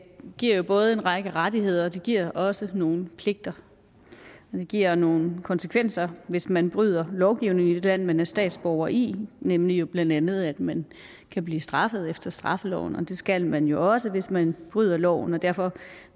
giver jo både en række rettigheder og det giver også nogle pligter det giver nogle konsekvenser hvis man bryder lovgivningen i det land man er statsborger i nemlig blandt andet at man kan blive straffet efter straffeloven og det skal man jo også hvis man bryder loven derfor